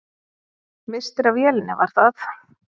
Misstir af vélinni, var það?